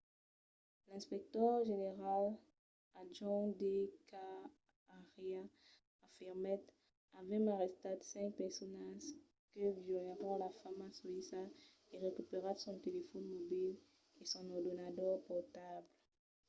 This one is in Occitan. l'inspector general adjonch d k arya afirmèt avèm arrestat cinc personas que violèron la femna soïssa e recuperat son telefòn mobil e son ordenador portable